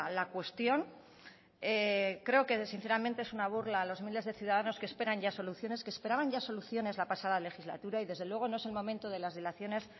la cuestión creo que sinceramente es una burla a los miles de ciudadanos que esperan ya soluciones que esperaban ya soluciones la pasada legislatura y desde luego no es el momento de las dilaciones